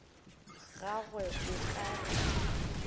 gagwe o ka re ke